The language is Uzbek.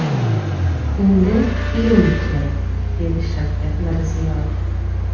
Endi ilm kerak”, dedi Shavkat Mirziyoyev.